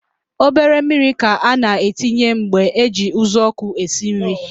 Obere mmiri ka a na-etinye mgbe eji uzuọkụ esi nri